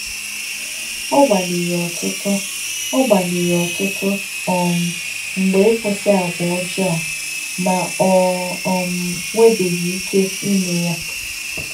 Ọ gbalịrị ọtụtụ Ọ gbalịrị ọtụtụ um mgbe ịkwụsị àgwà ọjọọ a ma o um nwebeghị ike ime ya.